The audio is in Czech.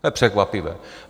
To je překvapivé.